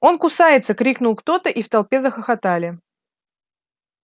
он кусается крикнул кто-то и в толпе захохотали